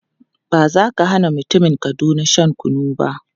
Ba za ka hana mutumin Kaduna shan kunu ba.